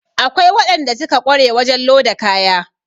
Akwai waɗanda suka ƙware wajen loda kaya